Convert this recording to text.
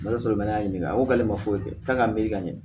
Ala sɔrɔ n'a ɲininka ko k'ale ma foyi kɛ k'a ka miiri ka ɲɛ